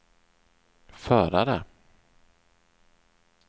förare